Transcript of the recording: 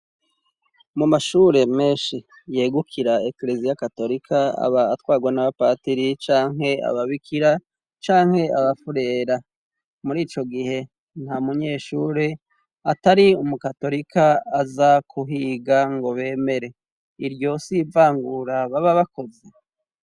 Mu mashure menshi yegukira Ekleziya Katolika aba atwarwa n'abapatiri canke aba bikira canke abafurera muri ico gihe nta munyeshure atari umu katolika aza kuhiga ngo bemere; iryo si ivangura baba bakoze ?